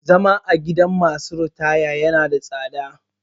Zama a gidan masu ritaya ya na da tsada